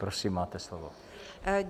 Prosím, máte slovo.